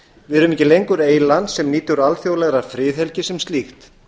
við erum ekki lengur eyland sem nýtur alþjóðlegrar friðhelgi sem slíkt